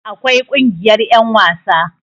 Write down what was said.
akwai Kungiyar yan wasa